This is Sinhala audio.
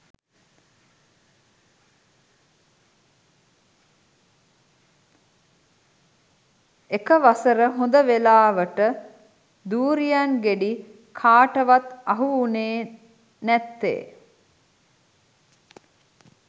එක වසර හොද වෙලාවට දුරියන් ගෙඩි කාටවත් අහුවුනේ නැත්තේ